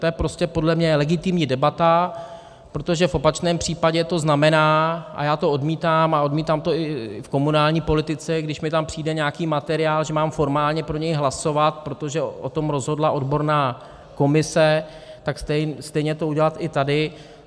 To je prostě podle mě legitimní debata, protože v opačném případě to znamená, a já to odmítám a odmítám to i v komunální politice, když mi tam přijde nějaký materiál, že mám formálně pro něj hlasovat, protože o tom rozhodla odborná komise, tak stejně to udělat i tady.